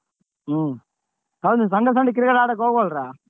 ಹ್ಮ್ ಹೌದು Sunday Sunday cricket ಆಡಕ್ ಹೋಗ್ವಲ್ರ?